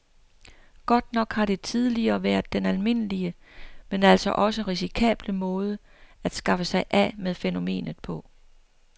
Godt nok har det tidligere været den almindelige, men altså også risikable måde at skaffe sig af med fænomenet på.